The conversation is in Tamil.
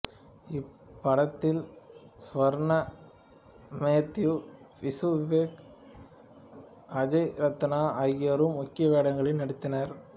இப்படத்தில் சுவர்ணா மேத்யூ விசு விவேக் அஜய் ரத்னம் ஆகியோரும் முக்கிய வேடங்களில் நடித்தனர்